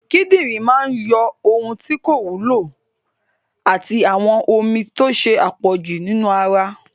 Kidinrin máa yọ ohun tí kò wúlò àti àwọn omi tó ṣe àpọ̀jù nínú ara